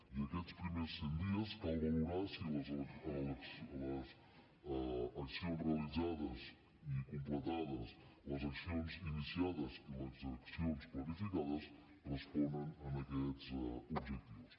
i aquests primers cent dies cal valorar si les accions realitzades i completades les accions iniciades i les accions planificades responen a aquests objectius